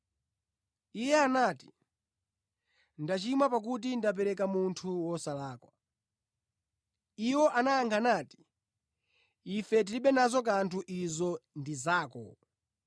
Iye anati, “Ndachimwa pakuti ndapereka munthu wosalakwa.” Iwo anayankha nati, “Ife tilibe nazo kanthu izo ndi zako.”